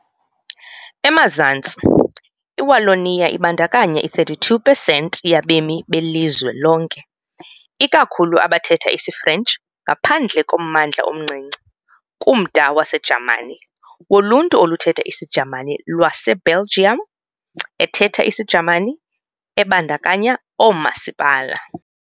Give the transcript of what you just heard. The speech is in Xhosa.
Emazantsi, iWallonia ibandakanya i-32 pesenti yabemi belizwe lonke, ikakhulu abathetha isiFrentshi ngaphandle kommandla omncinci, kumda waseJamani, woLuntu oluthetha isiJamani lwaseBelgium ethetha isiJamani, ebandakanya oomasipala